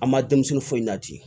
An ma denmisɛnnin foyi la ten